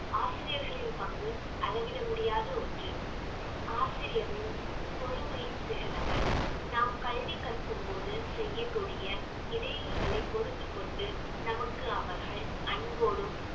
ஆசிரியர்களின் பங்கு அளவிட முடியாத ஒன்று ஆசிரியரின் பொறுமையின் சிகரங்கள் நாம் கல்வி கற்கும் போது செய்யக்கூடிய இடையூறுகளை பொறுத்துக் கொண்டு நமக்கு அவர்கள் அன்போடும்